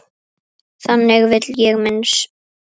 Þannig vil ég minnast þín.